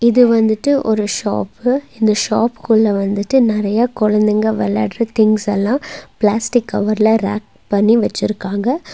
இது வந்துட்டு ஒரு ஷாப்பு இந்த ஷாப்புக்குள்ள வந்துட்டு நெறைய குழந்தைங்க விளையாடுற திங்ஸ் எல்லாம் பிளாஸ்டிக் கவர்ல ரேக் பண்ணி வச்சிருக்காங்க.